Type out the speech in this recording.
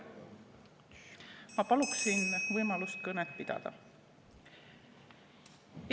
Ma paluksin võimalust kõnet pidada!